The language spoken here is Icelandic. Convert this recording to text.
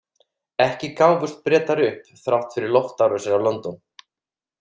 Ekki gáfust Bretar upp, þrátt fyrir loftárásir á London.